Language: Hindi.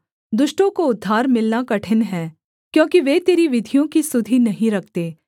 दुष्टों को उद्धार मिलना कठिन है क्योंकि वे तेरी विधियों की सुधि नहीं रखते